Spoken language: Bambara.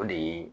O de ye